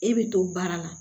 E bɛ to baara la